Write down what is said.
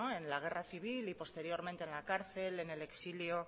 en la guerra civil y posteriormente en la cárcel en el exilio